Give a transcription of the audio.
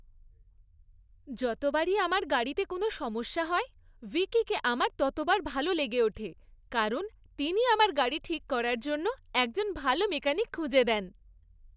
যতবারই আমার গাড়িতে কোনও সমস্যা হয়, ভিপি কে আমার ততবার ভালো লেগে ওঠে, কারণ তিনি আমার গাড়ি ঠিক করার জন্য একজন ভালো মেকানিক খুঁজে দেন।